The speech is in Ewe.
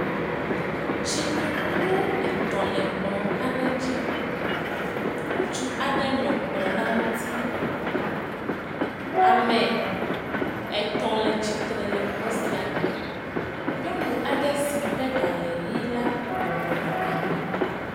Tsinokplu etɔ̃ le kplɔ aɖe dzi. Ŋutsu aɖe nɔ kplɔ la ŋuti. Ame etɔ̃ le tsitre le xɔ sia me. Nyɔnu aɖe si ƒe ɖa le ʋi la bɔbɔnɔ anyi.